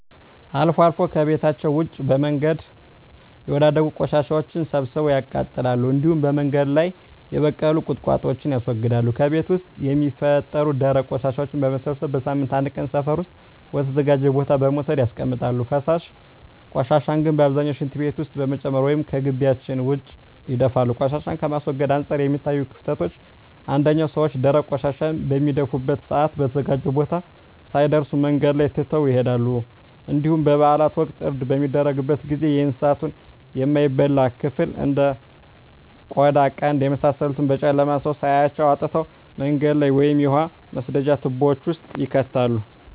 አልፎ አልፎ ከቤታቸዉ ውጭ በመንገድ ላይ የወዳደቁ ቆሻሻወችን ሰብስበው ያቃጥላሉ እንዲሁም በመንገድ ላይ የበቀሉ ቁጥቋጦወችን ያስወግዳሉ። ከቤት ውስጥ የሚፈጠሩ ደረቅ ቆሻሻወችን በመሰብሰብ በሳምንት አንድ ቀን ሰፈር ውስጥ ወደ ተዘጋጀ ቦታ በመውሰድ ያስቀምጣሉ። ፈሳሽ ቆሻሻን ግን በአብዛኛው ሽንት ቤት ውስጥ በመጨመር ወይም ከጊቢያቸው ውጭ ይደፋሉ። ቆሻሻን ከማስወገድ አንፃር የሚታዩት ክፍተቶች አንደኛ ሰወች ደረቅ ቆሻሻን በሚደፉበት ሰአት በተዘጋጀው ቦታ ሳይደርሱ መንገድ ላይ ትተው ይሄዳሉ እንዲሁም በበአላት ወቅት እርድ በሚደረግበት ጊዜ የእንሳቱን የማይበላ ክፍል እንደ ቆዳ ቀንድ የመሳሰሉትን በጨለማ ሰው ሳያያቸው አውጥተው መንገድ ላይ ወይም የውሃ መስደጃ ትቦወች ውስጥ ይከታሉ።